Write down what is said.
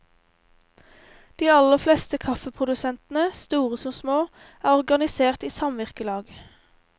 De aller fleste kaffeprodusentene, store som små, er organisert i samvirkelag.